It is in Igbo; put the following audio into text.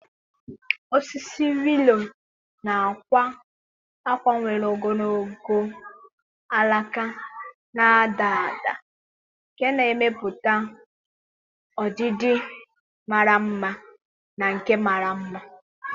Osisi willow na-akwa ákwá nwere ogologo alaka na-ada ada nke na-emepụta ọdịdị mara mma na nke mara mma.